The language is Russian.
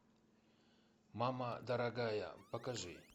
мама дорогая покажи